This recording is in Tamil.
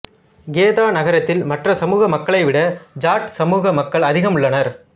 கேதா நகரத்தில் மற்ற சமுக மக்களை விட ஜாட் சமுக மக்கள் அதிகம் உள்ளனர்